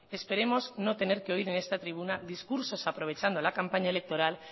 esperemos no tener que oír en esta tribuna discursos aprovechando la campaña electoral